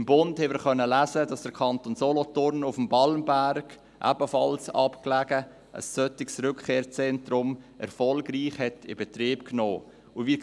Im «Bund» konnten wir lesen, dass der Kanton Solothurn auf dem Balmberg – ebenfalls abgelegen – ein solches Rückkehrzentrum erfolgreich in Betrieb genommen hat.